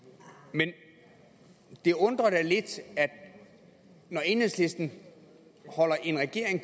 men det undrer da lidt når enhedslisten holder en regering